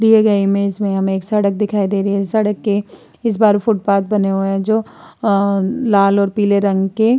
दिए गए इमेज में हमें एक सड़क दिखाई दे रही है। सड़क के इस पार फूटपाथ बने हुए हैं जो अ लाल और पीले रंग के --